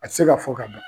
A tɛ se ka fɔ ka ban